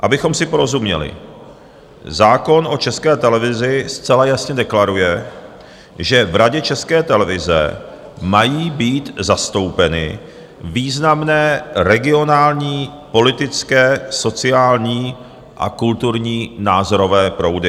Abychom si porozuměli, zákon o České televizi zcela jasně deklaruje, že v Radě České televize mají být zastoupeny významné regionální, politické, sociální a kulturní názorové proudy.